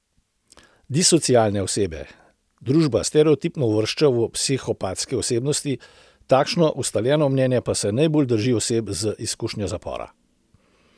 Disocialne osebe družba stereotipno uvršča v psihopatske osebnosti, takšno, ustaljeno mnenje pa se najbolj drži oseb z izkušnjo zapora.